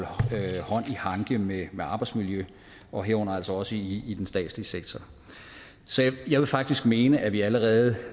i hanke med med arbejdsmiljøet og herunder altså også i i den statslige sektor så jeg vil faktisk mene at vi allerede